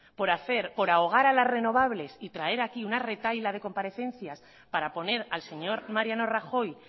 por ahogar a las renovables y traer aquí una retahíla de comparecencias para poner al señor mariano rajoy